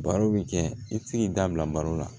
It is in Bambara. Baro bi kɛ i tɛ se k'i da bila baro la